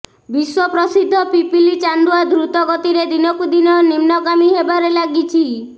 ବିଶ୍ୱପ୍ରସିଦ୍ଧ ପିପିଲି ଚାନ୍ଦୁଆ ଦ୍ରୁତ ଗତିରେ ଦିନକୁ ଦିନ ନିମ୍ନଗାମୀ ହେବାରେ ଲାଗିଛି